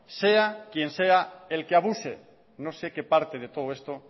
sea quien sea el que abuse no sé qué parte de todo esto